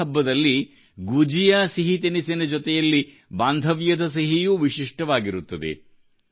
ಹೋಳಿ ಹಬ್ಬದಲ್ಲಿ ಗುಜಿಯಾ ಸಿಹಿತಿನಿಸಿನ ಜೊತೆಯಲ್ಲಿ ಬಾಂಧವ್ಯದ ಸಿಹಿಯೂ ವಿಶಿಷ್ಟವಾಗಿರುತ್ತದೆ